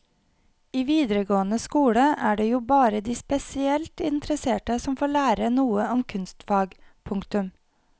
I videregående skole er det jo bare de spesielt interesserte som får lære noe om kunstfag. punktum